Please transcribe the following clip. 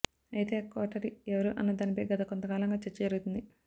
అయితే ఆ కోటరీ ఎవరు అన్నదానిపై గత కొంతకాలంగా చర్చ జరుగుతుంది